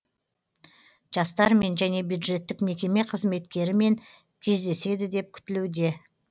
жастармен және бюджеттік мекеме қызметкерімен кездеседі деп күтілуде